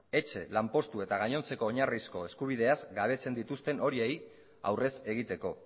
etxe lanpostu eta gainontzeko oinarrizko eskubideaz gabetzen dituzten horiei aurrez egiteko